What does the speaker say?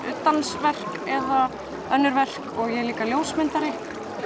dansverk eða önnur verk og ég er líka ljósmyndari